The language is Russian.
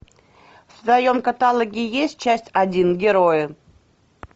в твоем каталоге есть часть один герои